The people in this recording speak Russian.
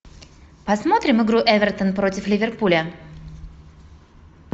посмотрим игру эвертон против ливерпуля